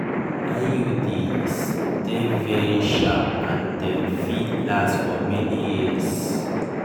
iuds de very sharp and dem fit last for many years